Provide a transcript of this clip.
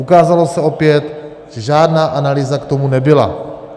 Ukázalo se opět, že žádná analýza k tomu nebyla.